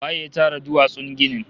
Waye ya tara duwatsun ginin?